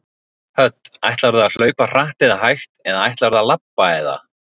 Hödd: Ætlarðu að hlaupa hratt eða hægt eða ætlarðu að labba eða?